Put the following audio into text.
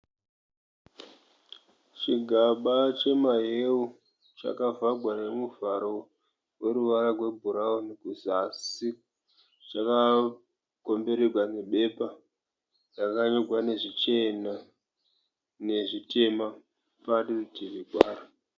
Chigaba chemahewu chakavhagwa nemuvharo weruvara gwe bhurauni kuzasi. Chakakomberegwa nebepa rakanyorwa nezvichena nezvitema parutivi paro.